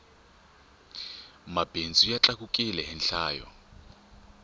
mabindzu ya tlakukile hi nhlayo